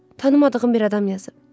Tanımadığım bir adam yazıb.